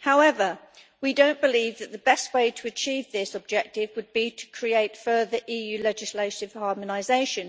However, we do not believe that the best way to achieve this objective would be through further EU legislative harmonisation.